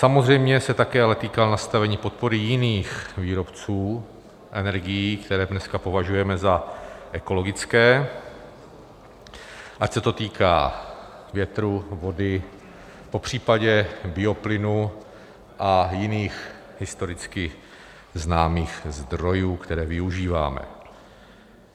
Samozřejmě se ale také týká nastavení podpory jiných výrobců energií, které dneska považujeme za ekologické, ať se to týká větru, vody, popřípadě bioplynu a jiných historicky známých zdrojů, které využíváme.